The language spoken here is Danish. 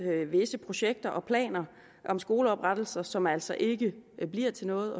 visse projekter og planer om skoleoprettelser som altså ikke bliver til noget